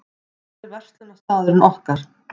Það er verslunarstaðurinn okkar.